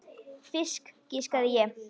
Fisk, giskaði ég.